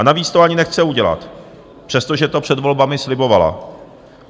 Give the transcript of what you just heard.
A navíc to ani nechce udělat, přestože to před volbami slibovala.